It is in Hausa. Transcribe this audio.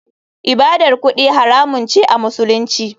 ibadar kudi haramun ce a musulunci.